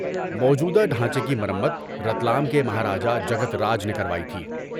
موجودہ ڈھانچے کی مرمت رتلام کے مہاراجہ جگت راج نے کروائی تھی۔